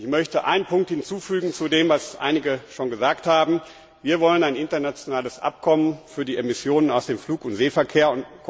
Ich möchte einen Punkt hinzufügen zu dem, was einige bereits gesagt haben Wir wollen ein internationales Abkommen für die Emissionen aus dem Flug und Seeverkehr.